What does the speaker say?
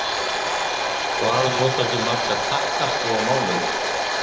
Hvað notar þú marga takkaskó á mánuði?